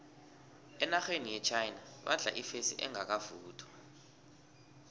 enarheni yechina badla ifesi engakavuthwa